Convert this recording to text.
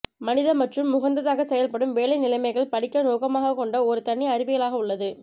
மனித மற்றும் உகந்ததாக செயல்படும் வேலை நிலைமைகள் படிக்க நோக்கமாகக் கொண்ட ஒரு தனி அறிவியலாக உள்ளது